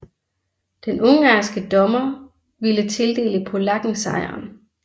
Den ungarske dommer ville tildele polakken sejren